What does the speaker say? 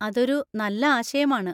അതൊരു നല്ല ആശയമാണ്.